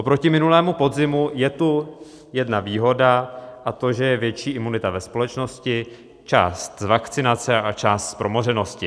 Oproti minulému podzimu je tu jedna výhoda, a to, že je větší imunita ve společnosti, část z vakcinace a část z promořenosti.